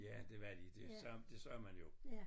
Ja det var de det det sagde man jo